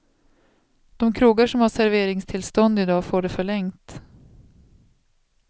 De krogar som har serveringstillstånd i dag får det förlängt.